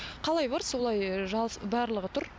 қалай бар солай барлығы тұр